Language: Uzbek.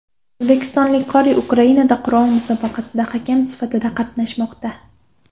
O‘zbekistonlik qori Ukrainada Qur’on musobaqasida hakam sifatida qatnashmoqda.